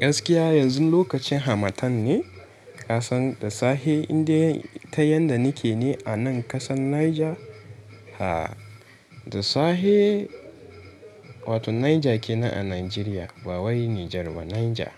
Gaskiya yanzu lokacin hamatan ne. Kasan da sahe inda ta yadda nike ne a nan ƙasar Niger. Ha! Da sahe, wato Niger kenan a Nigeria, ba wai Niger ba Niger.